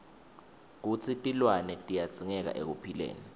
kutsi tilwane tiyadzingeka ekuphileni